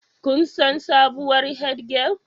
Kun san sabuwar Head girl